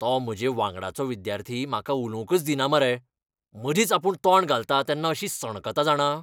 तो म्हजे वांगडचो विद्यार्थी म्हाका उलोवंकच दिना मरे, मदींच आपूण तोंड घालता तेन्ना अशी सणकता जाणा.